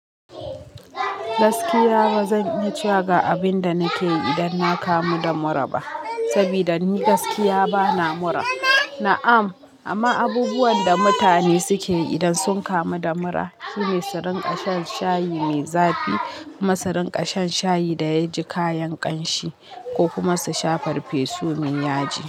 Gaskiya ba zan yi cewa ga abin da nake yi idan na kamu da mura ba, saboda ni gaskiya bana mura. Na'am, amma abubuwan da mutane suke yi idan sun kamu da mura, su ne su rinƙa shan shayi mai zafi, su rinƙa shan shayi da yaji kayan ƙanshi ko kuma su sha farfesun yaji.